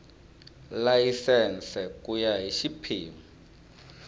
layisense ku ya hi xiphemu